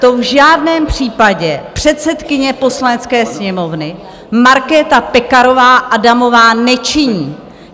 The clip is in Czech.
To v žádném případě předsedkyně Poslanecké sněmovny Markéta Pekarová Adamová nečiní.